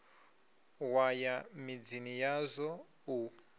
wa ya midzini yazwo u